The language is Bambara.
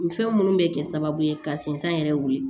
Nin fɛn minnu bɛ kɛ sababu ye ka sensan yɛrɛ wuli